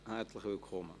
Herzlich willkommen.